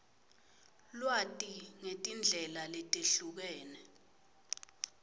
lwati ngetindlela letehlukene